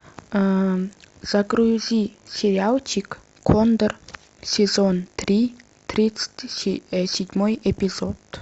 загрузи сериальчик кондор сезон три тридцать седьмой эпизод